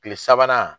Kile sabanan